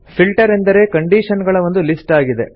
filter ಎಂದರೆ condition ಗಳ ಒಂದು ಲಿಸ್ಟ್ ಆಗಿದೆ